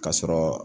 Ka sɔrɔ